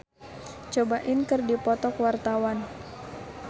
Dedi Petet jeung Kurt Cobain keur dipoto ku wartawan